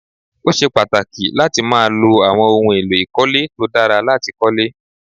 Ó ṣe pàtàkì láti máa lo àwọn ohun èlò ìkọ́lé tó dára láti kólé